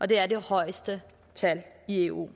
det er det højeste tal i eu